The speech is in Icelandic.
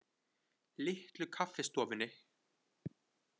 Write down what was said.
Litlu Kaffistofunni